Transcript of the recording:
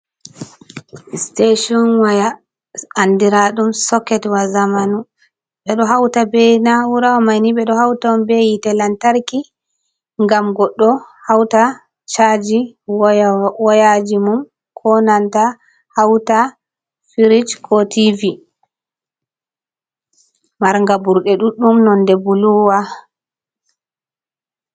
Stetiun waya andira ɗum soket wa zamanu, ɓeɗo hauta be na'ura wa mai ni ɓeɗo hauta on be hitet lantarki ngam goɗɗo hauta chaji woyaji mum, konanta hauta firij, ko tv, marnga ɓurɗe ɗuɗɗum nonde bulu wa.